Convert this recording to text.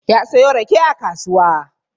Ya siyo rake a kasuwa.